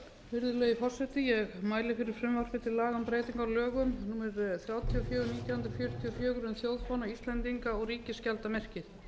virðulegi forseti ég mæli fyrir frumvarpi til laga um breytingu á lögum númer þrjátíu og fjögur nítján hundruð fjörutíu og fjögur um þjóðfána íslendinga og ríkisskjaldarmerkið